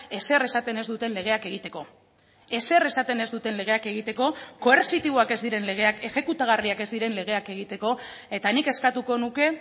ezer esaten ez duten legeak egiteko ezer esaten ez duten legeak egiteko koertzitiboak ez diren legeak exekutagarriak ez diren legeak egiteko eta nik eskatuko nuke